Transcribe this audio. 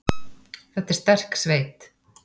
Þetta er sterk sveit.